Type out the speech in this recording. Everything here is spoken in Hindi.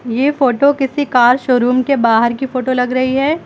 ये फोटो किसी कार शोरूम के बाहर की फोटो लग रही है।